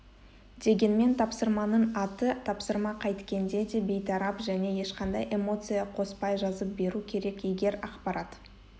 дегенмен тапсырманың аты тапсырма қайткенде де бейтарап және ешқандай эмоция қоспай жазып беру керек егер ақпарат